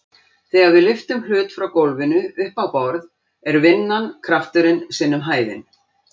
Þegar við lyftum hlut frá gólfinu upp á borð er vinnan krafturinn sinnum hæðin.